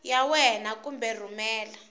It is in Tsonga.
ya wena kumbe ku rhumela